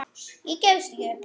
Ég gefst ekki upp.